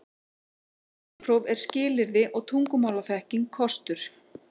Bílpróf er skilyrði og tungumálaþekking kostur